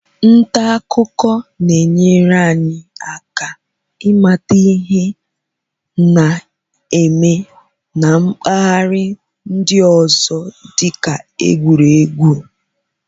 Nta akụkọ na-enyere anyị aka ịmata ihe na-eme na mpaghara ndị ọzọ dị ka egwuregwu.